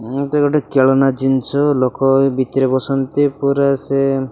ଏମିତି ଗୋଟେ ଖେଳନା ଜିନିଷ ଲୋକ ଭିତରେ ବସନ୍ତି। ପୁରା ସାଏମ୍।